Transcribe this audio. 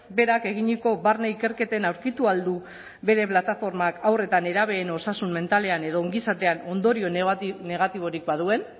berak eginiko barne ikerketen aurkitu ahal du bere plataformak haur eta nerabeen osasun mentalean edo ongizatean ondorio negatiborik baduen